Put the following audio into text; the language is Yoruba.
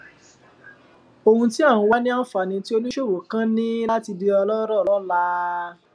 ohun tí à ń wá ni anfani tí oníṣòwò kan ní láti di ọlọrọ lọla